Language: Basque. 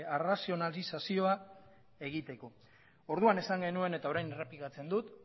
arrazionalizazioa egiteko orduan esan genuen eta orain errepikatzen dut